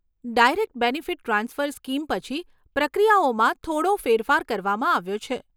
Direct benefit transfer scheme પછી, પ્રક્રિયાઓમાં થોડો ફેરફાર કરવામાં આવ્યો છે.